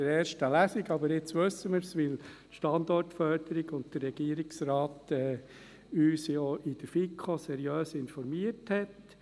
Jetzt wissen wir es, weil uns die Standortförderung und der Regierungsrat ja auch in der FiKo seriös informiert haben.